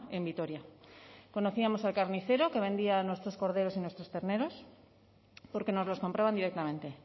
en vitoria conocíamos al carnicero que vendía nuestros corderos y nuestros terneros porque nos los compraban directamente